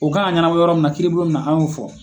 O kan ka ɲanabɔ yɔrɔ mun na ,kiiribulon mun na an y'o fɔ.